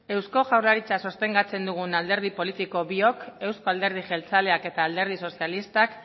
eusko jaurlaritza sostengatzen dugun alderdi politiko biok euzko alderdi jeltzaleak eta alderdi sozialistak